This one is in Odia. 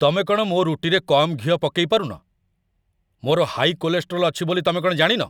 ତମେ କ'ଣ ମୋ' ରୁଟିରେ କମ୍ ଘିଅ ପକେଇ ପାରୁନ? ମୋର ହାଇ କୋଲେଷ୍ଟେରୋଲ୍ ଅଛି ବୋଲି ତମେ କଣ ଜାଣିନ ?